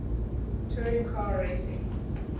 touring car racing